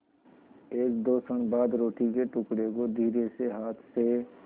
एकदो क्षण बाद रोटी के टुकड़े को धीरेसे हाथ से